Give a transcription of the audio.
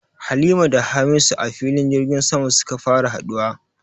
Halima da Hamisu a filin jirgin sama suka fara haduwa